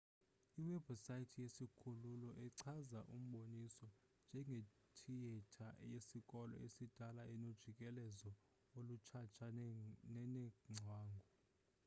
iwebhusayithi yesikhululo ichaza umboniso njengethiyetha yesikolo esidala enojikelezo olutshatsha nenengcwangu